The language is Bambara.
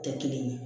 Tɛ kelen ye